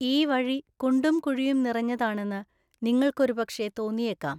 ഈ വഴി കുണ്ടും കുഴിയും നിറഞ്ഞതാണെന്ന് നിങ്ങള്‍ക്കൊരുപക്ഷേ തോന്നിയേക്കാം.